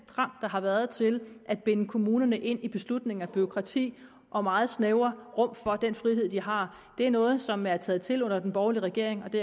trang der har været til at binde kommunerne ind i beslutninger og bureaukrati og meget snævre rum for den frihed de har er noget som er taget til under den borgerlige regering og det